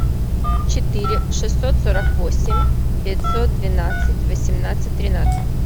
четыре шестьсот сорок восемь пятьсот двенадцать восемнадцать тринадцать